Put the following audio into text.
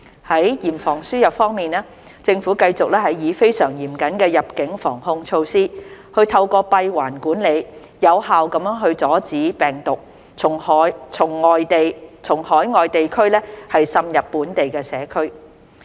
在嚴防輸入方面，政府繼續以非常嚴謹的入境防控措施，透過閉環管理，有效地阻止病毒從海外地區滲入本地社區。